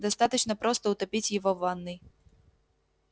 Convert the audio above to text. достаточно просто утопить его в ванной